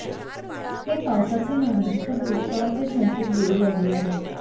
हे पावसाचे नाही तर दुष्काळाचे संकेत देऊ लागले आहेत